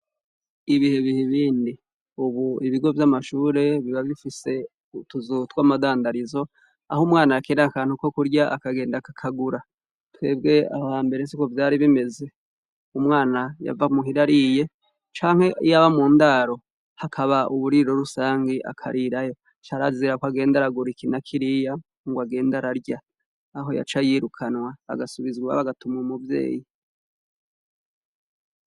Ibihe biha ibindi. Ubu ibigo vy'amashure buba bifise utuzu tw'amadandarizo, aho umwana akenera akantu ko kurya akagenda akakagura twebwe aho hambere siko vyari bimeze. Umwana yava muhira ariye, canke iyaba mu ndaro hakaba uburiro rusangi akarirayo, carazirako agenda aragura iki na kiriya ngo agenda ararya. Aho yaca yirukanwa agasubizwa agatumwa umuvyeyi.